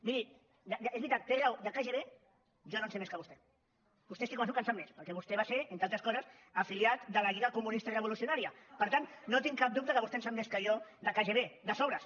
miri és veritat té raó de kgb jo no en sé més que vostè vostè estic convençut que en sap més perquè vostè va estar entre altres coses afiliat a la lliga comunista revolucionària per tant no tinc cap dubte que vostè en sap més que jo de kgb de sobres